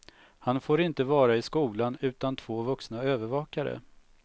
Han får inte vara i skolan utan två vuxna övervakare.